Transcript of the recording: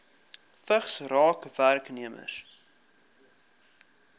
vigs raak werknemers